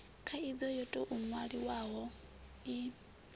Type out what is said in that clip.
khaidzo yo tou nwalwaho i